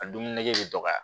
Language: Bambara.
A dumuni nege bɛ dɔgɔya